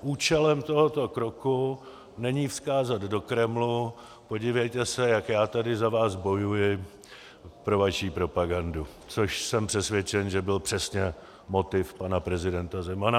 účelem tohoto kroku není vzkázat do Kremlu: podívejte se, jak já tady za vás bojuji pro vaši propagandu, což jsem přesvědčen, že byl přesně motiv pana prezidenta Zemana.